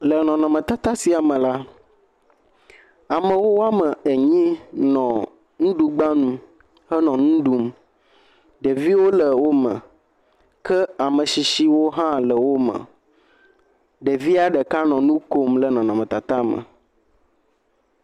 Le nɔnɔmetata sia me la, amewo woame enyi nɔ nuɖugbanu henɔ nu ɖum. Ɖeviwo le wome. Ke ame shishiwo hã nɔ wome. Ɖevia ɖeka nɔ nu kom le nɔnɔmetata me.